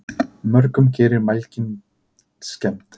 Mörgum gerir mælgin skemmd.